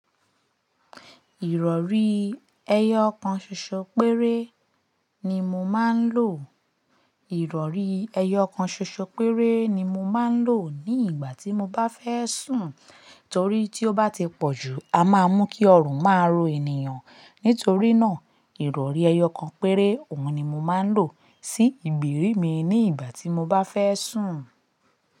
Ìrọ̀rí ẹyọ kan ṣoṣo péré ni mo máa ń lò. Ìrọ̀rí ẹyọ kan ṣoṣo péré ni mo máa ń lò ní ìgbà tí mo bá fẹ́ sùn. Torí tí ó bá ti pọ̀ jù a máa mú kí ọrùn máa ro ènìyàn. Nítorí náà, Ìrọ̀rí ẹyọ kan péré òun ni mo máa ń lò sí ìgbèrí mi ní ìgbà tí mo bá fẹ́ sùn.